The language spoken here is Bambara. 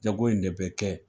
Jago in de bɛ kɛ